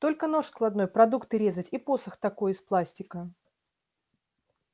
только нож складной продукты резать и посох такой из пластика